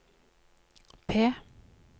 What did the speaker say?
P